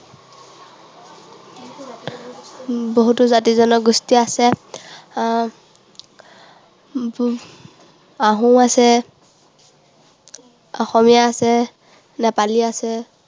বহুতো জাতি জনগোষ্ঠী আছে। আহ আহোম আছে, অসমীয়া আছে, নেপালী আছে।